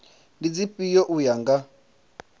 ndi dzifhio u ya nga